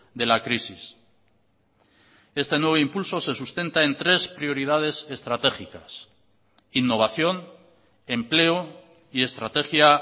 de la crisis este nuevo impulso se sustenta en tres prioridades estratégicas innovación empleo y estrategia